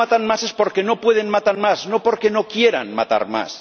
Si no matan más es porque no pueden matar más, no porque no quieran matar más.